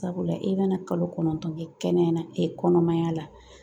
Sabula e bɛna kalo kɔnɔntɔn kɛ kɛnɛya kɔnɔmaya la